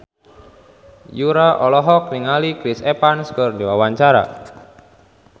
Yura olohok ningali Chris Evans keur diwawancara